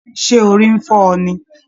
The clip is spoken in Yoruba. Ṣé orí n fọ ọ ní?